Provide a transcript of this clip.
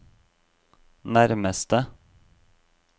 nærmeste